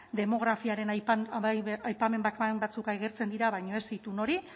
demografiaren aipamen bakan batzuk agertzen dira baina ez itun hori